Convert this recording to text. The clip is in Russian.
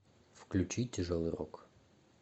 включи тяжелый рок